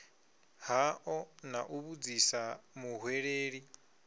hao na u vhudzisa muhweleli